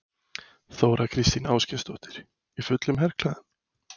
Þóra Kristín Ásgeirsdóttir: Í fullum herklæðum?